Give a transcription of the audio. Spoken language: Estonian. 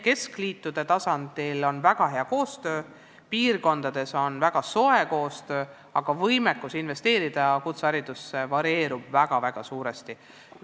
Keskliitude tasandil on väga hea koostöö, piirkondades on väga soe koostöö, aga võimekus investeerida kutseharidusse varieerub väga-väga suuresti.